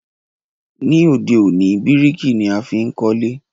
Ní òde òní, bíríkì ni a fi n kólé